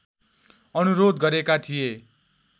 अनुरोध गरेका थिए